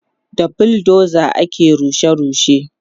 da buldoza ake rushe rushe